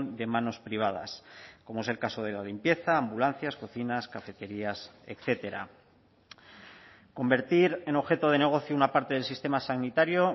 de manos privadas como es el caso de la limpieza ambulancias cocinas cafeterías etcétera convertir en objeto de negocio una parte del sistema sanitario